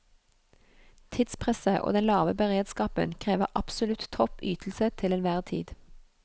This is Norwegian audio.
Tidspresset og den lave beredskapen krever absolutt topp ytelse til enhver tid.